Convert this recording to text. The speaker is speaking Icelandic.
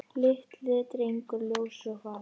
Lítill drengur ljós og fagur.